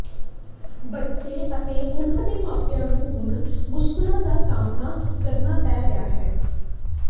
ਬੱਚੇ ਅਤੇ ਉਨ੍ਹਾਂ ਦੇ ਮਾਪਿਆਂ ਨੂੰ ਹੁਣ ਮੁਸ਼ਕਲਾਂ ਦਾ ਸਾਹਮਣਾ ਕਰਨਾ ਪੈ ਰਿਹਾ ਹੈ